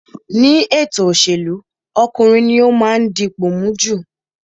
Nínú ètò òṣèlú, ọkùnrin ní ó máa ń dipò mú jù